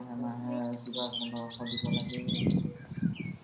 মাহে মাহে কিবা পোন্ধৰশ দিব লাগে